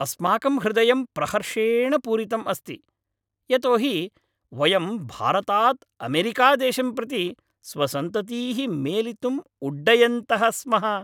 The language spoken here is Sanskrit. अस्माकं हृदयं प्रहर्षेण पूरितम् अस्ति, यतो हि वयं भारतात् अमेरिकादेशं प्रति स्वसन्ततीः मेलितुम् उड्डयन्तः स्मः।